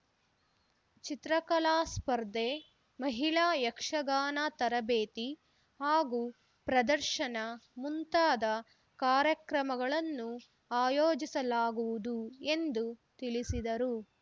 ಚಿತ್ರಕಲಾ ಸ್ಪರ್ಧೆ ಮಹಿಳಾ ಯಕ್ಷಗಾನ ತರಬೇತಿ ಹಾಗೂ ಪ್ರದರ್ಶನ ಮುಂತಾದ ಕಾರ್ಯಕ್ರಮಗಳನ್ನು ಆಯೋಜಿಸಲಾಗುವುದು ಎಂದು ತಿಳಿಸಿದರು